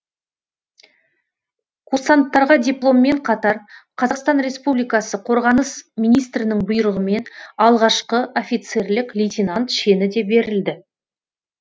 курсанттарға дипломмен қатар қазақстан республикасы қорғаныс министрінің бұйрығымен алғашқы офицерлік лейтенант шені де берілді